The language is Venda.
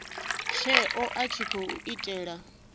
tsheo a tshi khou itela